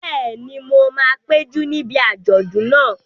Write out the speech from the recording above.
Bẹ́ẹ̀ni, mo máa péjú níbi àjọ̀dún náà